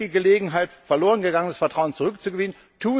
Hier ist die Gelegenheit, verlorengegangenes Vertrauen zurückzugewinnen.